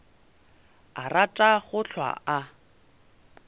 a rata go hlwa a